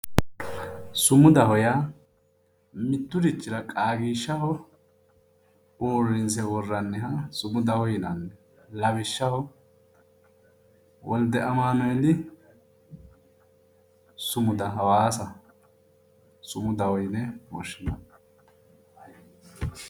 sumudaho yaa mitturichira qaagiishshaho uurrinse worranniha sumudaho yinanni lawishshaho wolde amanueeli sumuda hawaasa sumudaho yine woshshinanni.